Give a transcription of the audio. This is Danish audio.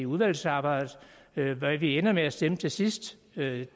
udvalgsarbejdet hvad vi ender med at stemme til sidst ved